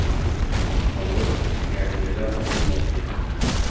Palov, garnirlar uchun mos keladi.